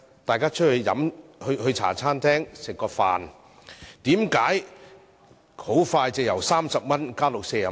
大家到茶餐廳吃飯，為何價格很快便由30元加至40元？